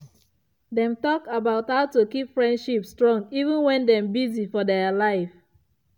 dem talk about how to keep friendship strong even when dem busy for their life.